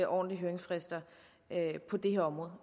ordentlige høringsfrister på det her område